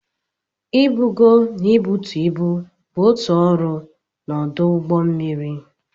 Ibugo na ibutu ibu bụ otu ọrụ na ọdụ ụgbọ mmiri.